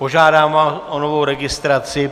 Požádám vás o novou registraci.